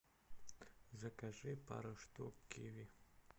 закажи пару штук киви